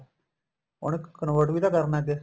ਉਹਨੂੰ convert ਵੀ ਤਾਂ ਕਰਨਾ ਅੱਗੇ